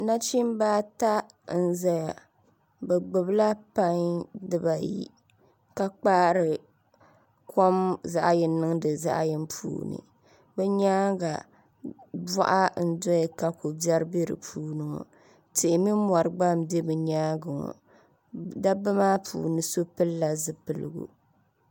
Nachimbi ata n ʒɛya bi gbubila pai dibayi ka kpaari kom zaɣ yini niŋdi zaɣ yini puuni bi nyaanga boɣa n doya ka ko biɛri bɛ di puuni ŋo tihi ni mori gba n bɛ bi nyaangi ŋo dabba maa puuni so pilala zipiligu